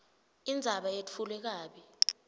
indzaba yetfulwe kabi